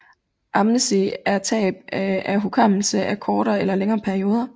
Amnesi er tab af hukommelse af kortere eller længere perioder